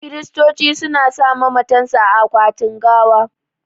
Kiristoci su na sa mamatan su a akwatin gawa